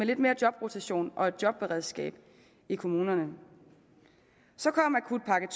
lidt mere jobrotation og et jobberedskab i kommunerne så kom akutpakke